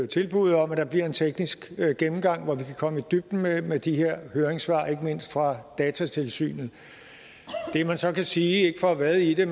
tilbuddet om at der bliver en teknisk gennemgang hvor vi kan komme i dybden med med de her høringssvar ikke mindst fra datatilsynet det man så kan sige ikke for at vade i det er